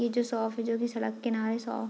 ये जो शॉप है जो कि सड़क किनारे शॉप --